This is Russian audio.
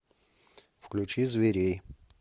включи зверей